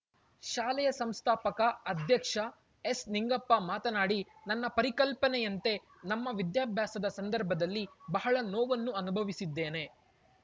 ಶಾಲೆಯ ಸಂಸ್ಥಾಪಕ ಅಧ್ಯಕ್ಷ ಎಸ್‌ನಿಂಗಪ್ಪ ಮಾತನಾಡಿ ನನ್ನ ಪರಿಕಲ್ಪನೆಯಂತೆ ನಮ್ಮ ವಿದ್ಯಾಭ್ಯಾಸದ ಸಂದರ್ಭದಲ್ಲಿ ಬಹಳ ನೋವನ್ನು ಅನುಭವಿಸಿದ್ದೇನೆ